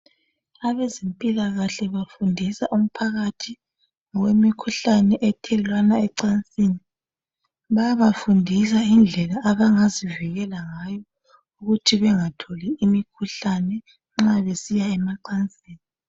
Abezempilakahle bafundisa umphakathi ngokwemikhuhlane ethelelwana emacansini. Bayabafundisa ngendlela abangazivikela ngayo, ukuthi bangatholi imikhuhlane. Nxa besiya emacansini.